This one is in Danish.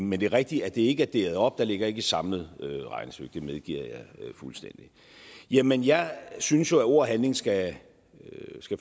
men det er rigtigt at det ikke er adderet op der ligger ikke et samlet regnestykke det medgiver jeg fuldstændig jamen jeg synes jo at ord og handling skal